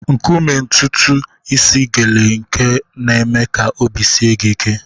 Nkume ntutu isi gele nke na-eme ka obi sie gị ike.